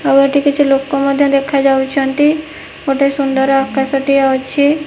ଆଉ ଏଠି କିଛି ଲୋକ ମଧ୍ୟ ଦେଖା ଯାଉଚନ୍ତି। ଗୋଟେ ସୁନ୍ଦର୍ ଆକାଶ ଟିଏ ଅଛି।